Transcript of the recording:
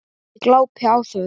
Ég glápi á þau.